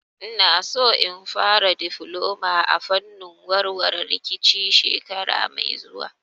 Ina so in fara difloma a fannin warware rikici shekara mai zuwa